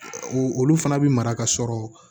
Olu fana bi mara ka sɔrɔ